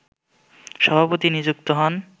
সভাপতি নিযুক্ত হন